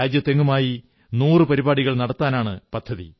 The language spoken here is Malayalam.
രാജ്യമെങ്ങുമായി 100 പരിപാടികൾ നടത്താനാണു പദ്ധതി